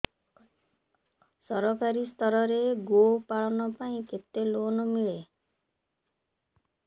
ସରକାରୀ ସ୍ତରରେ ଗୋ ପାଳନ ପାଇଁ କେତେ ଲୋନ୍ ମିଳେ